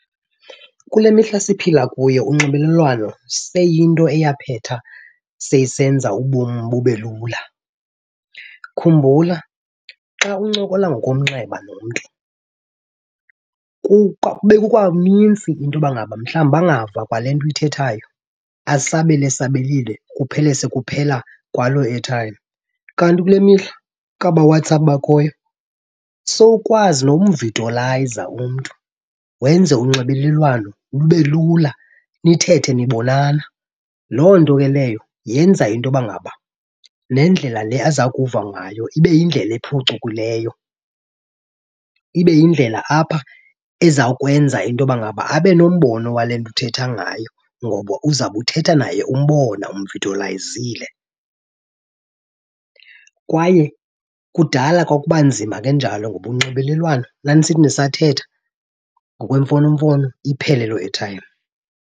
Kule mihla siphila kuyo unxibelelwano seyiyinto eyaphetha seyisenza ubom bube lula. Khumbula xa uncokola ngokomnxeba nomntu bekukanintsi into yoba ngaba mhlawumbi angava kwale nto uyithethayo asabele esabelile, kuphele sekuphela kwaloo airtime. Kanti kule mihla kwaba WhatsApp bakhoyo sowukwazi nomvidiyolayiza umntu wenze unxibelelwano lube lula, nithethe nibonana. Loo nto ke leyo yenza into yoba ngaba nendlela le aza kuva ngayo ibe yindlela ephucukileyo, ibe yindlela apha ezawukwenza into yoba ngaba abe nombono wale nto uthetha ngayo ngoba uzawube uthetha naye umbona umvidiyolayizile. Kwaye kudala kwakuba nzima kanjalo ngoba unxibelelwano nanisithi nisathetha ngokwemfonomfono, iphele loo airtime.